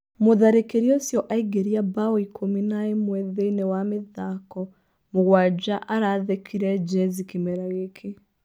Mũtharĩkĩri ũcio aingĩria mbao ikũmi na ĩmwe thĩinĩ wa mĩthako mũgwanja arathĩkire Jezzy kĩmera gĩkĩ.